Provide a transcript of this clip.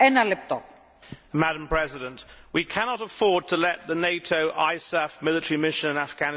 Madam President, we cannot afford to let the NATO ISAF military mission in Afghanistan fail.